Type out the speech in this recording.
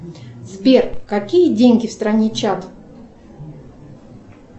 сбер какие деньги в стране чад